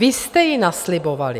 Vy jste ji naslibovali.